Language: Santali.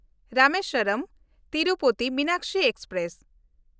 ᱨᱟᱢᱮᱥᱣᱚᱨᱚᱢ–ᱛᱤᱨᱩᱯᱚᱛᱤ ᱢᱤᱱᱟᱠᱥᱤ ᱮᱠᱥᱯᱨᱮᱥ